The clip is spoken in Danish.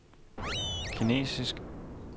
kinesisk